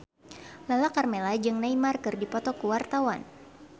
Lala Karmela jeung Neymar keur dipoto ku wartawan